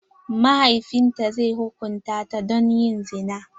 Mahaifin ta zai hukunta ta don yin zina.